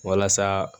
Walasa